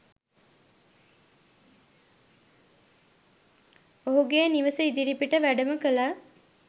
ඔහුගේ නිවස ඉදිරිපිට වැඩම කළා.